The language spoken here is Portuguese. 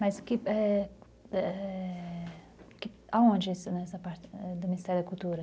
Mas que, é... é... aonde Ministério da Cultura?